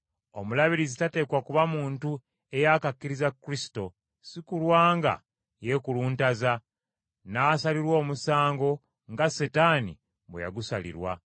Omulabirizi tateekwa kuba muntu eyaakakkiriza Kristo, si kulwa nga yeekuluntaza, n’asalirwa omusango nga Setaani bwe yagusalirwa.